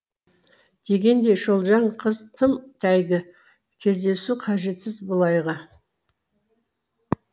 дегендей шолжың қыз тым әйгі кездесу қажетсіз былайғы